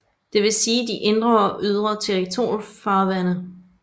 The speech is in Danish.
Det vil sige de indre og ydre territorialfarvande